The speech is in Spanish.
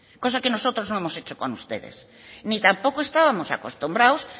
cosa que nosotros no hemos hecho con ustedes ni tampoco estábamos acostumbrados